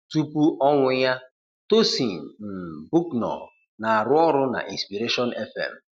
Tupu ọnwụ ya, Tosyn um Bucknor na-arụ ọrụ na inspiration FM